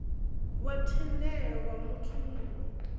wa thendelo ya muthu muwe